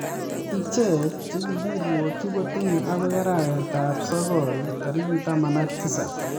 Ichek che kigiirwokchi kotinyei akoii arawet ab sogol tarik taman ak tisap